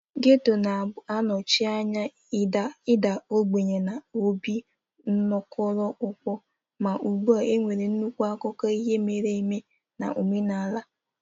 Getto na-anọchi anya ịda ogbenye na obi nkoropụ, ma ugbu a nwere nnukwu akụkọ ihe mere eme na omenala.